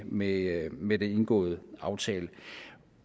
med med den indgåede aftale